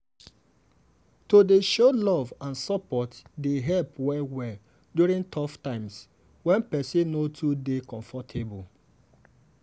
to dey show love and support dey help well-well during tough times when person no too dey comfortable.